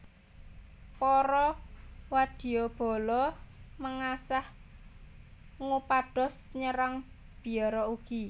Para wadyabala mengsah ngupados nyerang biara ugi